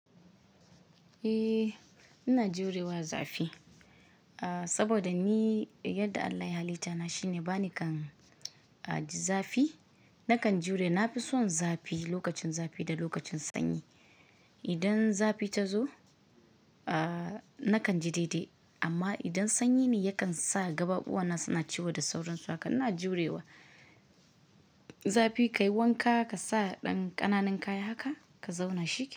Eh ina jurewa zafi, saboda ni yadda Allah ya halita ni shine bani kan ji zafi nakan jure. Na fi son zafi lokacin zafi da lokacin sanyi. Idan zafi ta zo, ah nakan ji daidai amma idan sanyi ne yakan sa kafafuwana suna ciwo da sauransu haka. Ina jurewa zafi kayi wanka kasa dan kananan kaya haka ka zauna shikenan.